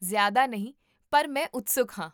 ਜ਼ਿਆਦਾ ਨਹੀਂ ਪਰ ਮੈਂ ਉਤਸੁਕ ਹਾਂ